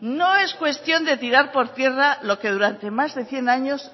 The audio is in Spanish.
no es cuestión de tirar por tierra lo que durante más de cien años